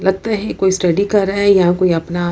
लगता है कोई स्टडी कर रहा है यहां कोई अपना।